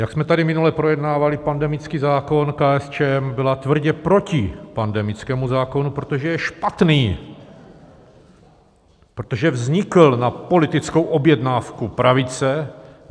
Jak jsme tady minule projednávali pandemický zákon, KSČM byla tvrdě proti pandemickému zákonu, protože je špatný, protože vznikl na politickou objednávku pravice.